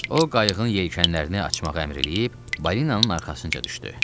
O, qayığın yelkənlərini açmağa əmr eləyib, balinanın arxasınca düşdü.